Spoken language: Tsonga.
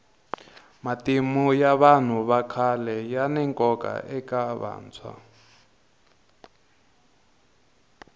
matimu ya vanhu vakhale yani nkoka eka vantshwa